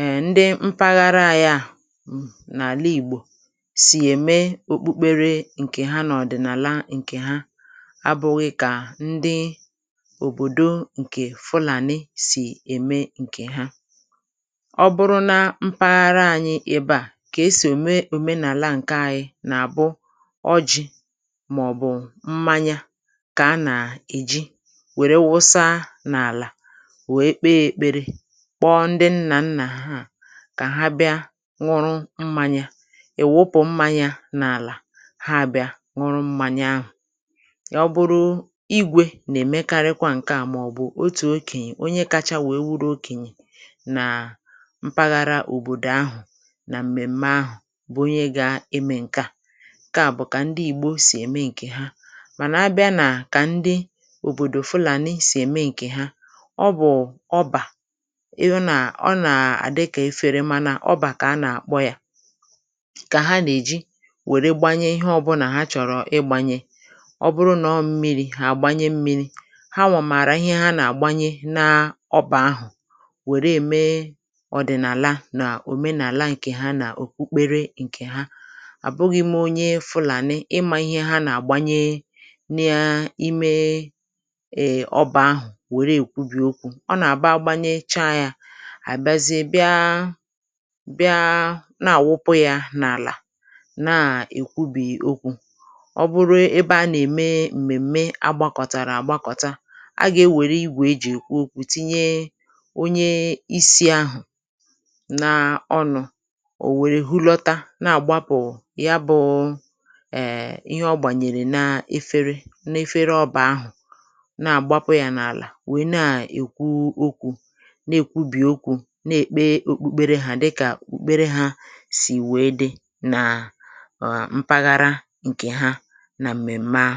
e ndị mpaghara ya à n’àlà ìgbò abụ̇ghị̇ kà ndị òbòdo ǹkè Fulani sì ème ǹkè ha ọ bụrụ nà mpaghara ànyị ebe à kà esì ème èmenàla ǹke ànyị nà-àbụ ọjị̇ màọ̀bụ̀ mmanya kà a nà-èji wère wụsa n’àlà wèe kpee èkpere kpọọ ndị nnà nnà ha kà ha bịa nwụrụ mmanya ì wupù mmanya n’àlà yà ọ bụrụ igwė nà-èmekarịkwa ǹkè à màọbụ̀ otù okènyè onye kacha wèe wụrụ okènyè nà mpaghara òbòdò ahụ̀ nà m̀mèm̀me ahụ̀ bụ̀ onye gȧ-eme ǹkè à ǹkè à bụ̀ kà ndị Ìgbò sì ème ǹkè ha mànà a bịa nà kà ndị òbòdò Fulani nà ihe sì ème ǹkè ha ọ bụ̀ ọbà ịhụ nà ọ nà-àdịkọ̀ eferemànà ọbà kà a nà-àkpọ yȧ kà ha nà-èji ọ bụrụ nà ọ mmịrị̇ à gbanye mmịrị̇ ha nwàmàrà ihe ha nà-àgbanye n’ọbà ahụ̀ wèrè ème ọ̀dị̀nàla nà òmenàla ǹkè ha nà-òkpukpere ǹkè ha àbụghị̇me onye Fulani nà ịmȧ ihe ha nà-àgbanye n’imė ịmȧ ọbà ahụ̀ wèrè èkwubì okwu̇ ọ nà-àbà agbanyecha yȧ àbịazịa bịa bịa na-àwụpụ̇ yȧ n’àlà na-èkwubì okwu̇ ǹkè bụrụ ebe a nà-ème m̀mèm̀me agbakọ̀tàrà àgbakọ̀ta agà-ė wère igwè e jì èkwu okwu̇ tinye onye isi̇ ahụ̀ n’ọnụ̇ ò wère hụlọ̀ta na-àgbapụ̀ ya bụ̀ ihe ọ gbànyèrè na-efere na-efere ọbà ahụ̀ na-àgbapụ yȧ n’àlà wère na-èkwu okwu̇ na-èkwubì okwu̇ na-èkpe òkpukpere ha dịkà òkpukpere hȧ sì wèe dị na mpaghara nkè ha nà m̀mèm̀me ahụ.